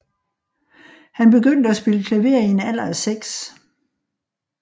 Han begyndte at spille klaver i en alder af seks